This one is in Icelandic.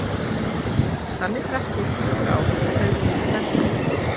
Þannig drakk ég í fjögur ár og þau voru mín verstu.